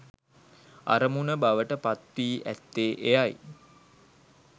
අරමුණ බවට පත් වී ඇත්තේ එයයි.